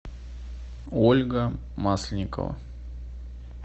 ольга масленникова